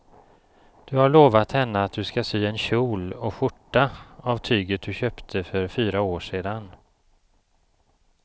Du har lovat henne att du ska sy en kjol och skjorta av tyget du köpte för fyra år sedan.